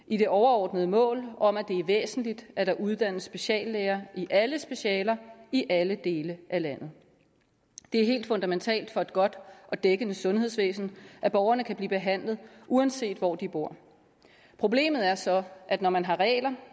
i det overordnede mål om at det er væsentligt at der uddannes speciallæger i alle specialer i alle dele af landet det er helt fundamentalt for et godt og dækkende sundhedsvæsen at borgerne kan blive behandlet uanset hvor de bor problemet er så at når man har regler